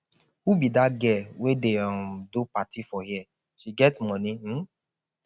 who be dat girl wey dey um do party for here she get money um